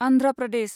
Andhra Pradesh